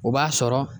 O b'a sɔrɔ